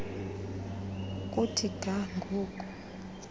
kuthi ga ngoku